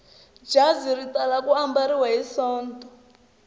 jazi ri tala ku ambariwa hi sonto